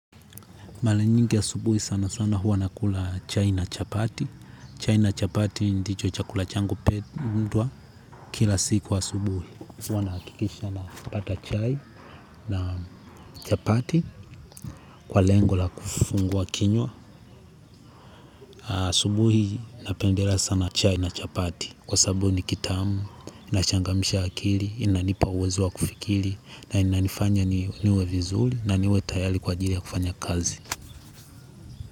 Mara nyingi asubuhi sana sana huwa nakula chai na chapati. Chai na chapati ndicho chakula changu huundwa kila siku asubuhi. Huwa nahakikisha napata chai na chapati kwa lengo la kufungua kinywa. Asubuhi napendela sana chai na chapati. Kwa sabu nikitamu, inachangamsha akili, inanipa uwezo wa kufikiri na inanifanya niwe vizuri na niwe tayati kwa ajili ya kufanya kazi.